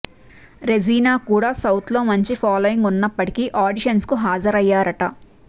Regina కూడ సౌత్లో మంచి ఫాలోయింగ్ ఉన్నప్పటికీ ఆడిషన్స్ కు హాజరయ్యారట